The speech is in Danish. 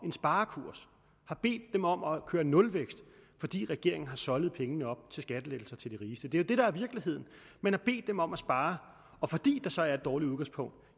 en sparekurs har bedt dem om at køre nulvækst fordi regeringen har soldet pengene op på skattelettelser til de rigeste det er jo det der er virkeligheden man har bedt dem om at spare og fordi der så er et dårligt udgangspunkt